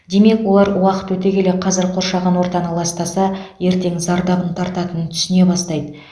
демек олар уақыт өте келе қазір қоршаған ортаны ластаса ертең зардабын тартатынын түсіне бастайды